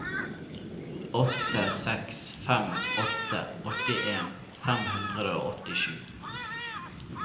åtte seks fem åtte åttien fem hundre og åttisju